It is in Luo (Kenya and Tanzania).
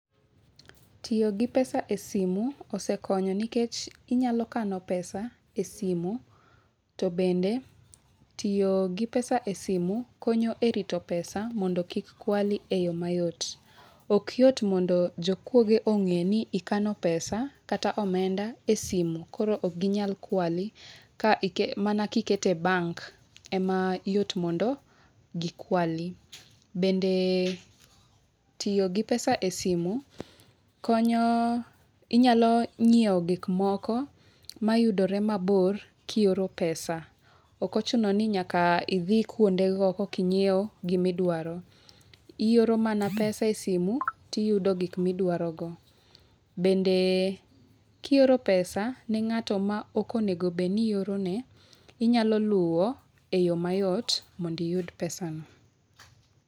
Tiyo gi pesa e simu osekonyo nikech inyalo kano pesa e simu. To bende tiyo gi pesa e simu konyo e rito pesa mondo kik kwali e yo mayot. Okyot mondo jokuoge ong'e ni ikano pesa kata omenda e simu. Koro okginyal kwali, ka mana kiketo e bank e mayot mondo gikwali. Bende, tiyo gi pesa e simu konyo, inyalo nyiewo gik moko mayudore mabor kioro pesa. Ok ochuno ni nyaka idhi kuonde go koka inyiew gima idwaro. Ioro mana pesa e simu tiyudo gik miduaro go. Bende, kioro pesa ne ng'ato ma ok onego bed ni ioro ne, inyalo luwo e yo mayot mondo iyud pesa no.